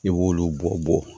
I b'olu bɔ bɔ